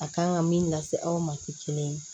A kan ka min lase aw ma ke kelen